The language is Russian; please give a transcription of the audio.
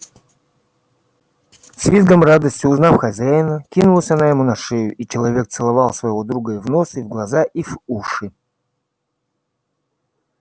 с визгом радости узнав хозяина кинулась она ему на шею и человек целовал своего друга и в нос и в глаза и в уши